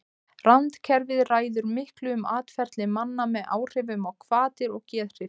randkerfið ræður miklu um atferli manna með áhrifum á hvatir og geðhrif